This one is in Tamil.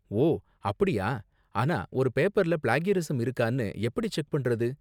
ஓ அப்படியா! ஆனா ஒரு பேப்பர்ல ப்ளேக்யரிஸம் இருக்கானு எப்படி செக் பண்றது?